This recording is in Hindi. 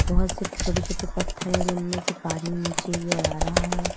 बोहोत से छोटे छोटे पत्थर है जिनमें से पानी नीचे की और आ रहा है।